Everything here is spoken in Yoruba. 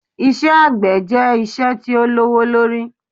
Iṣẹ́ àgbẹ̀ jẹ́ iṣẹ́ tí ó lówó lórí